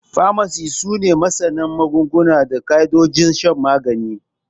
Famasis su ne masana magunguna da ƙaidojin shan magani.